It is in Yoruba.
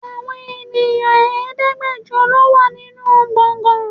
Àwọn èèyàn Ẹ̀ẹ́dẹ́gbẹjọ lọ wà nínú gbọ̀ngán.